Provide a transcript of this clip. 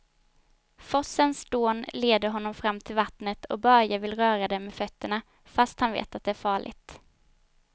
Forsens dån leder honom fram till vattnet och Börje vill röra vid det med fötterna, fast han vet att det är farligt.